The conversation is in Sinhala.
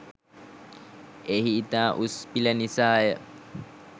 එහි ඉතා උස් පිළ නිසාය